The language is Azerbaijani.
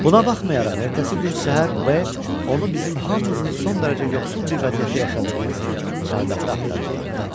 Buna baxmayaraq ertəsi gün səhər B onu bizim hamımızın son dərəcə yoxsul bir vəziyyətdə yaşadığımız çardaqda axtarıb tapdı.